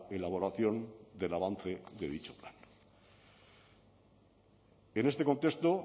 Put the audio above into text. elaboración del avance de dicho plan en este contexto